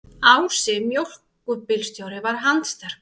Ási mjólkurbílstjóri var handsterkur.